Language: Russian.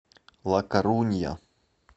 ла корунья